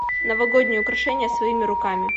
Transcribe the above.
новогодние украшения своими руками